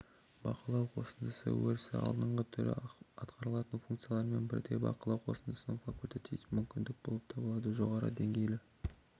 бақылау қосындысы өрісі алдыңғы түрі атқарылатын функциялармен бірдей бақылау қосындысы факультативті мүмкіндік болып табылады жоғары деңгейлі